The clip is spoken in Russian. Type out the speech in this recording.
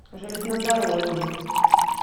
железнодорожный